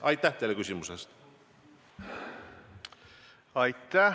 Aitäh!